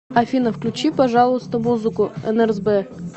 афина включи пожалуйста музыку нрзб